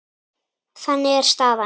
Þannig er staðan.